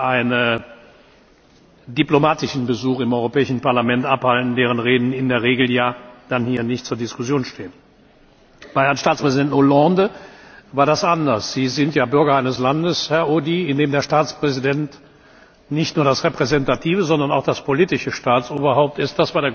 die einen diplomatischen Besuch im Europäischen Parlament abhalten, deren Reden in der Regel ja dann hier nicht zur Diskussion stehen. Bei Herrn Staatspräsident Hollande war das anders. Sie sind ja Bürger eines Landes, Herr Audy, in dem der Staatspräsident nicht nur das repräsentative, sondern auch das politische Staatsoberhaupt